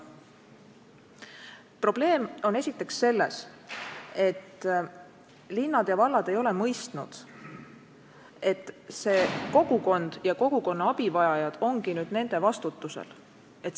Probleem on esiteks selles, et linnad ja vallad ei ole mõistnud, et see kogukond ja kogukonna abivajajad ongi nüüd nende vastutusel.